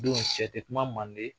Don sɛ te kuma Manden,